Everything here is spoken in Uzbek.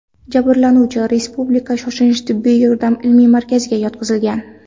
Jabrlanuvchi Respublika shoshilinch tibbiy yordam ilmiy markaziga yotqizilgan.